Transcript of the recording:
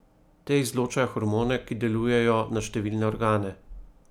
Te izločajo hormone, ki delujejo na številne organe.